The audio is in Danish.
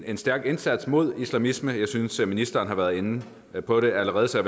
en stærk indsats mod islamisme jeg synes ministeren har været inde på det allerede så